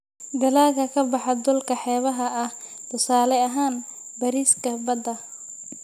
Dalagga ka baxa dhulka xeebaha ah: tusaale ahaan, bariiska badda.